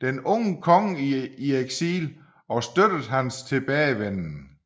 den unge konge i eksil og støttet hans tilbagevenden